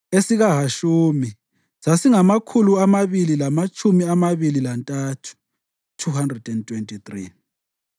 esikaHashumi sasingamakhulu amabili lamatshumi amabili lantathu (223),